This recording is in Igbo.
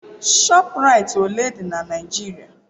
ShopRites ole dị na Nigeria?